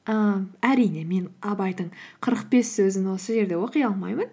ііі әрине мен абайдың қырық бес сөзін осы жерде оқи алмаймын